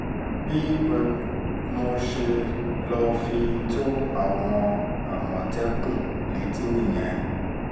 bí mo ṣe lọ́ọ́ fi tó àwọn àmọ̀tẹ́kùn létí nìyẹn